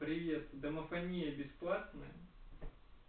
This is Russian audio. привет домофония бесплатно